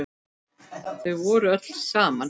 Þau voru öll saman.